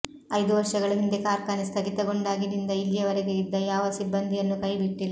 ಐದು ವರ್ಷಗಳ ಹಿಂದೆ ಕಾರ್ಖಾನೆ ಸ್ಥಗಿತಗೊಂಡಾಗಿನಿಂದ ಇಲ್ಲಿಯವರೆಗೆ ಇದ್ದ ಯಾವ ಸಿಬ್ಬಂದಿಯನ್ನೂ ಕೈಬಿಟ್ಟಿಲ್ಲ